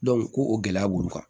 ko o gɛlɛya b'olu kan